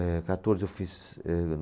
Eh, quatorze eu fiz, eh.